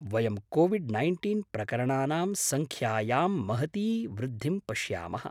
वयं COVID nineteen प्रकरणानां सङ्ख्यायां महती वृद्धिं पश्यामः।